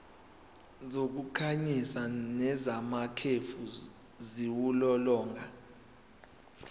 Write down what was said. zokukhanyisa nezamakhefu ziwulolonga